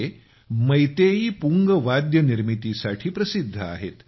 हे मैतेईपुंग वाद्य निर्मितीसाठी प्रसिद्ध आहेत